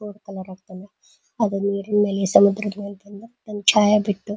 boat colour ಹಾಕೊಂಡು ಅದು ನೀರಿನ ಮೇಲೆ ಸಮುದ್ರದ ಮೇಲೆ ಬಂದು ಒಂದು ಛಾಯಾ ಬಿತ್ತು--